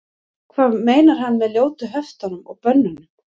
hvað meinar hann með ljótu höftunum og bönnunum